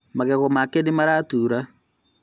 Magego make nĩmaratura